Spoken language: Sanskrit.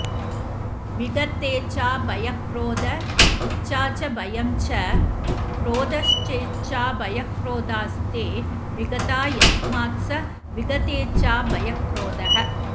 विगतेच्छाभयक्रोध इच्छा च भयं च क्रोधश्चेच्छाभयक्रोधास्ते विगता यस्मात्स विगतेच्छाभयक्रोधः